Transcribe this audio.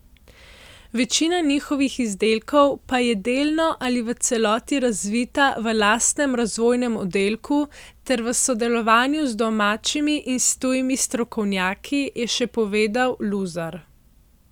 Večina njihovih izdelkov pa je delno ali v celoti razvita v lastnem razvojnem oddelku ter v sodelovanju z domačimi in s tujimi strokovnjaki, je še povedal Luzar.